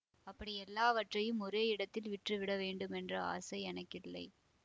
அப்படி எல்லாவற்றையும் ஒரே இடத்தில் விற்று விட வேண்டுமென்ற ஆசை எனக்கில்லை